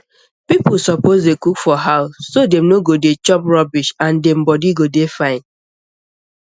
people suppose dey cook for house so dem no go dey chop rubbish and dem body go dey fine